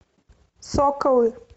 соколы